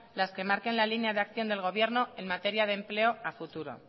las que marquen la línea de acción del gobierno en materia de empleo a futuro